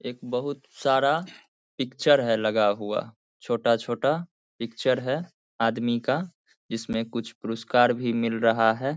एक बहुत सारा पिक्चर है लगा हुआ छोटा-छोटा पिक्चर है आदमी का जिसमें कुछ पुरुस्कार भी मिल रहा है।